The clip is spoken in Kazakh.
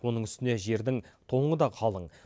оның үстіне жердің тоңы да қалың